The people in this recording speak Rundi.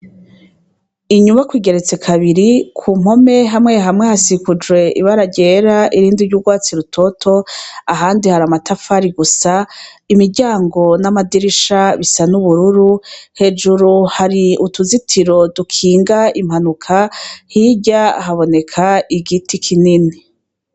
Inyubakwa igeretse kabiri ku mpome hamwe hamwe hasikocoye ibara ryera irindi ry'urwatsi rutoto ahandi hari amatafari gusa imiryango n'amadirisha bisa n'ubururu hejuru hari utuzitiro dukinga impanuka hirya haboneka igiti kinini.